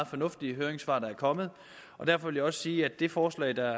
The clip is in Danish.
fornuftige høringssvar der er kommet derfor vil jeg også sige at det forslag der